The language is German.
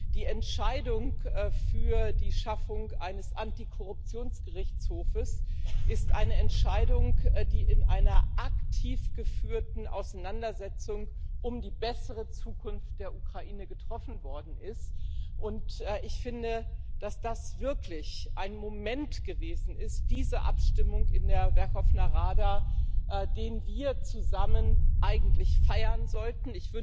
Die Entscheidung für die Schaffung eines Antikorruptions Gerichtshofs ist eine Entscheidung, die in einer aktiv geführten Auseinandersetzung um eine bessere Zukunft der Ukraine getroffen worden ist. Und ich finde, dass diese Abstimmung in der Werchowna Rada wirklich ein Moment gewesen ist, den wir zusammen eigentlich feiern sollten.